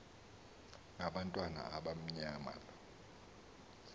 ngabantu abamnyama lo